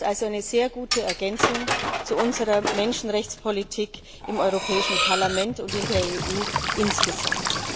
Es ist also eine sehr gute Ergänzung zu unserer Menschenrechtspolitik im Europäischen Parlament und in der EU insgesamt.